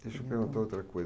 Deixa eu perguntar outra coisa.